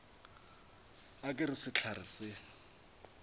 ga ke re sehlare se